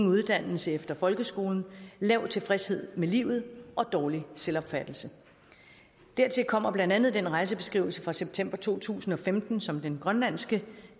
uddannelse efter folkeskolen lav tilfredshed med livet og dårlig selvopfattelse dertil kommer blandt andet den rejsebeskrivelse fra september to tusind og femten som den grønlandske